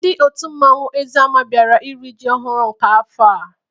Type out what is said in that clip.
Ndị otu mmanwụ Eziama biara n'iri ji ọhụrụ nke afọ a.